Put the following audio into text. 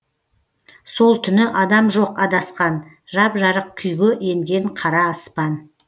сол түні адам жоқ адасқан жап жарық күйге енген қара аспан